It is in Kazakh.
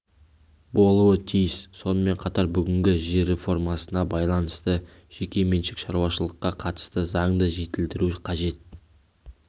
болуы тиіс сонымен қатар бүгінгі жер реформасына байланысты жеке меншік шаруашылыққа қатысты заңды жетілдіру қажет